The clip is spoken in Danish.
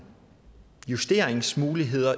justeringsmuligheder